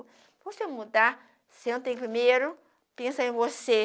Para você mudar, senta aí primeiro, pensa em você.